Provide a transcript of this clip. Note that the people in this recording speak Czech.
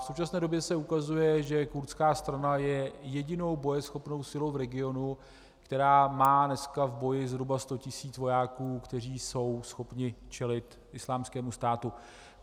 V současné době se ukazuje, že kurdská strana je jedinou bojeschopnou silou v regionu, která má dneska v boji zhruba 100 tis. vojáků, kteří jsou schopni čelit Islámskému státu.